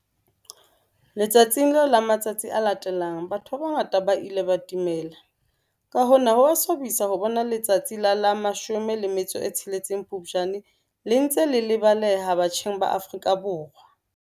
Letsatsing leo le matsatsing a latelang batho ba bangata ba ile ba timela. Ka hona ho a swabisa ho bona letsatsi la la 16 Phupjane le ntse le lebaleha batjheng ba Afrika Borwa.